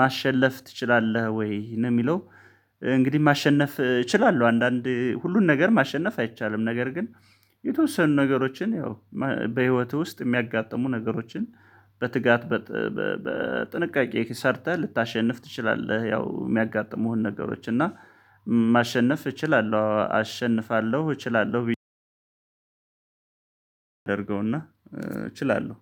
ማሸነፍ ትችላለህ ወይ ነው የሚለው? እንግዲህ ማሸነፍ እችላለሁ አንዳንድ ሁሉን ነገር ማሸነፍ አይቻልም። ነገር ግን የተወሰኑ ነገሮችን ያው በህይወትህ ውስጥ የሚያጋጥሙ ነገሮችን በትጋት በጥንቃቄ ሰርተህ ልታሸንፍ ትችላለህ። ያው የሚያጋጥሙህን ነገሮች እና ማሸነፍ እችላለሁ አሸንፋለሁ እችላለሁ። አደርገውና እችላለሁ